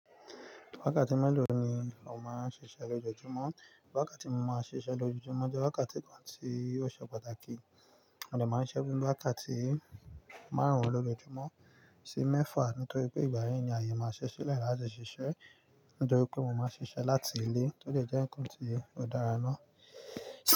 Wákàtí mélòó ni o máa ń ṣiṣẹ́ lójoojúmọ́? Wákàtí mo máa ń ṣiṣẹ́ lójoojúmọ́ jẹ wákàtí kan tí ó ṣe pàtàkì, mo dè máa ń siṣẹ́ fun wákàtí márùn-ún lójoojúmọ́ sí mẹ́fà nítorí pé ìgbà yii ni ayé máa ṣi sílẹ̀ láti ṣiṣẹ́. Nítorí pé mo máa ń ṣiṣẹ́ láti ilé tò jẹ́ ǹnkan tí ó dára náa.